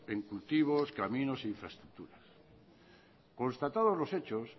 en cultivos caminos e infraestructuras constatado los hechos